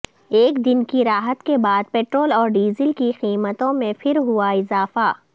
ایک دن کی راحت کے بعد پٹرول اور ڈیزل کی قیمتوں میں پھر ہوا اضافہ